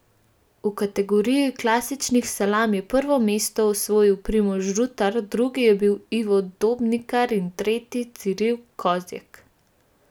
V kategoriji klasičnih salam je prvo mesto osvojil Primož Rutar, drugi je bil Ivo Dobnikar in tretji Ciril Kozjek.